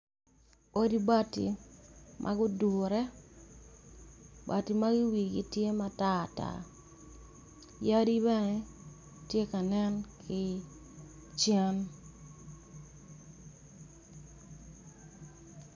Odi bati ma gudure, bati magi wigi tye matar tar yadi beneti kanen ki cen.